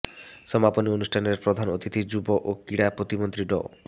সমাপনী অনুষ্ঠানের প্রধান অতিথি যুব ও ক্রীড়া প্রতিমন্ত্রী ড